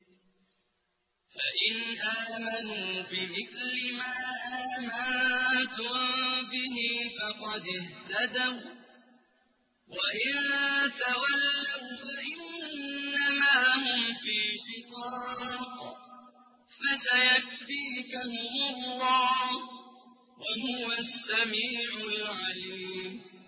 فَإِنْ آمَنُوا بِمِثْلِ مَا آمَنتُم بِهِ فَقَدِ اهْتَدَوا ۖ وَّإِن تَوَلَّوْا فَإِنَّمَا هُمْ فِي شِقَاقٍ ۖ فَسَيَكْفِيكَهُمُ اللَّهُ ۚ وَهُوَ السَّمِيعُ الْعَلِيمُ